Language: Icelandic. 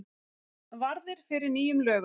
Varðir fyrir nýjum lögum